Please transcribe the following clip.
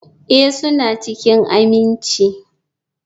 Ee, suna cikin aminci.